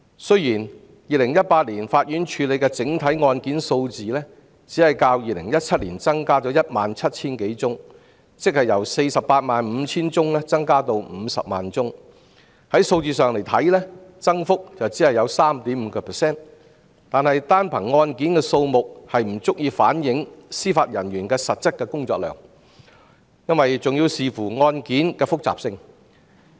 雖然法院在2018年處理的整體案件數字只是較2017年增加 17,000 多宗，即是由 485,000 宗增加至 500,000 宗，從數字上來看，增幅只是 3.5%， 但單憑案件的數目不足以反映司法人員的實質工作量，因為還要視乎案件的複雜性。